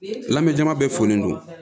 Lamɛnba bɛɛ folen don